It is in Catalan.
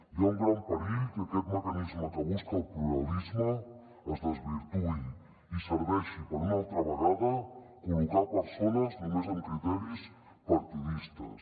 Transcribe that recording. hi ha un gran perill que aquest mecanisme que busca el pluralisme es desvirtuï i serveixi per una altra vegada col·locar persones només amb criteris partidistes